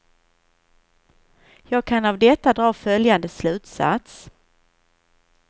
Jag kan av detta dra följande slutsats.